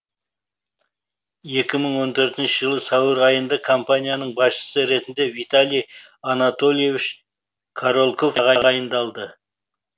екі мың он төртінші жылы сәуір айында компанияның басшысы ретінде виталий анатольевич корольков тағайындалды